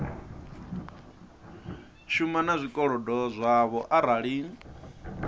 shuma na zwikolodo zwavho arali